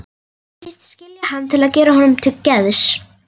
Segist skilja hann til að gera honum til geðs.